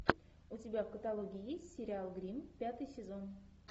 у тебя в каталоге есть сериал гримм пятый сезон